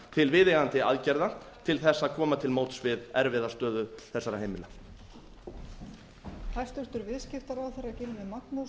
til viðeigandi aðgerða til þess að koma til móts við erfiða stöðu þessara heimila